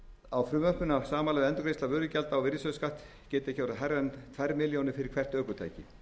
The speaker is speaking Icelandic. á frumvarpinu að samanlögð endurgreiðsla vörugjalds og virðisaukaskatts geti ekki verið hærri en tvær milljónir króna fyrir hvert ökutæki